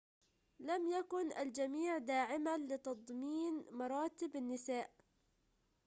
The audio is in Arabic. لم يكن الجميع داعماً لتضمين مراتب للنساء